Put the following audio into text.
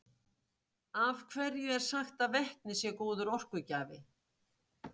af hverju er sagt að vetni sé góður orkugjafi